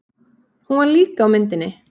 Hún var líka á myndinni.